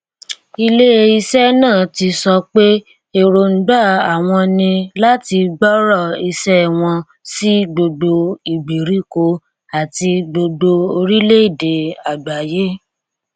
ilé iṣẹ náà ti sọ pé èròǹgbà àwọn ní láti gbòòrò iṣẹ wọn sí gbogbo ìgbèríko àti gbogbo orílẹèdè àgbáyé